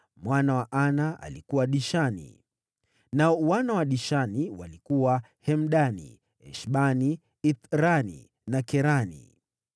Mwana wa Ana alikuwa: Dishoni. Nao wana wa Dishoni walikuwa: Hemdani, Eshbani, Ithrani na Kerani.